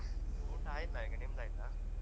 ಊಟ ಆಯಿಲ್ಲ ಈಗ ನಿಮ್ದ್ ಆಯ್ತಾ ?